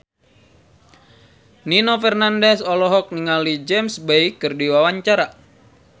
Nino Fernandez olohok ningali James Bay keur diwawancara